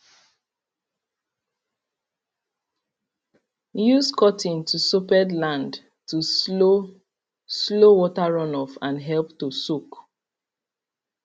use cutting to soped land to slow slow water runoff and help to soak